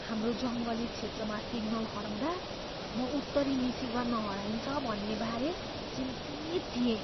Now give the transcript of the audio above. हाम्रो जङ्गली क्षेत्रमा सिग्नल हराउँदा म उत्तरी मिसिगनमा हराइन्छ भन्ने बारे चिन्तित थिएँ।